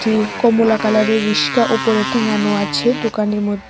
কমলা কালারের রিস্কা উপরে টেঙানো আছে দোকানের মধ--